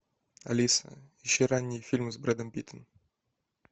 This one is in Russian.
алиса ищи ранние фильмы с брэдом питтом